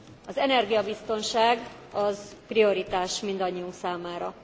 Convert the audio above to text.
Az energiabiztonság az prioritás mindannyiunk számára.